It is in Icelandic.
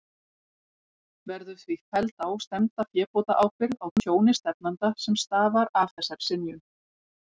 Verður því felld á stefnda fébótaábyrgð á tjóni stefnanda, sem stafar af þessari synjun.